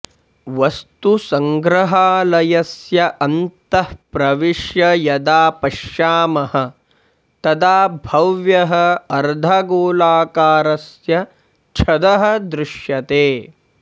वस्तुसङ्ग्रहालयस्य अन्तः प्रविश्य यदा पश्यामः तदा भव्यः अर्धगोलाकारस्य छदः दृश्यते